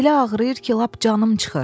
Elə ağrıyır ki, lap canım çıxır.